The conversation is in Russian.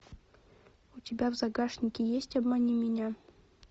у тебя в загашнике есть обмани меня